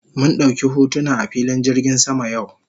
Mun dauki hotuna a filin jirgin sama yau